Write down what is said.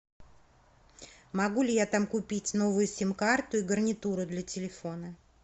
могу ли я там купить новую сим карту и гарнитуру для телефона